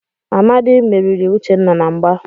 Amadi merìrì Uchenna na mgbà.